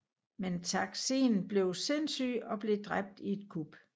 Men Taksin blev sindssyg og blev dræbt i et kup